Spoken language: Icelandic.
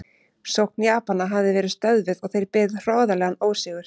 Sókn Japana hafði verið stöðvuð og þeir beðið hroðalegan ósigur.